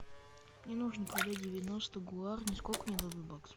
мне нужно продать девяносто гуарни сколько мне дадут баксов